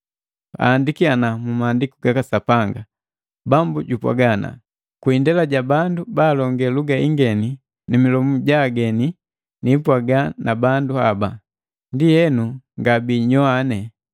Ahandiki mu Maandiku gaka Sapanga, “Bambu jupwaga ana, ‘Kwi indela ja bandu balonge luga ingeni, ni milomu ya ageni, nipwaga na bandu haba, ndienu, ngabinyowane.’ ”